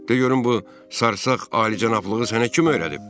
De görüm bu sarsaq alicənablığı sənə kim öyrədib?